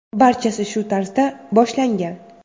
Barchasi shu tarzda boshlangan.